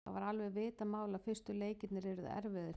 Það var alveg vitað mál að fyrstu leikirnir yrðu erfiðir fyrir þá.